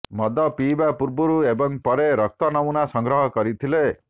ମଦ ପିଇବା ପୂର୍ବରୁ ଏବଂ ପରେ ରକ୍ତ ନମୁନା ସଂଗ୍ରହ କରିଥିଲେ